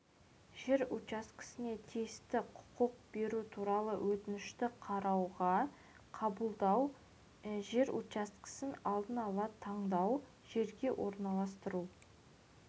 жер учаскесіне тиісті құқық беру туралы өтінішті қарауға қабылдау жер учаскесін алдын ала таңдау жерге орналастыру